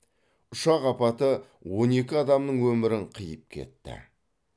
ұшақ апаты он екі адамның өмірін қиып кетті